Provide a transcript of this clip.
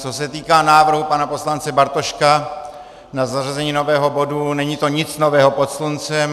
Co se týká návrhu pana poslance Bartoška na zařazení nového bodu, není to nic nového pod sluncem.